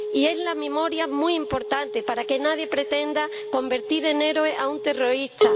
Y la memoria es muy importante, para que nadie pretenda convertir en héroe a un terrorista.